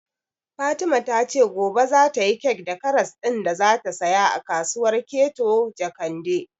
Fatima ta ce gobe za ta yi kek da karas ɗin da za ta saya a kasuwar Keto Jakende